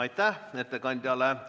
Aitäh ettekandjale!